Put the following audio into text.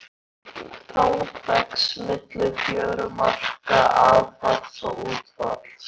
Þang vex milli fjörumarka aðfalls og útfalls.